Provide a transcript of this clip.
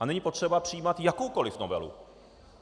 A není potřeba přijímat jakoukoli novelu.